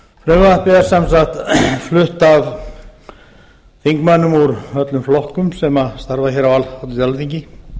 frumvarpið er sem sagt flutt af þingmönnum úr öllum flokkum sem starfa hér á alþingi